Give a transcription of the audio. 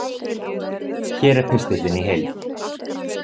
Hér er pistillinn í heild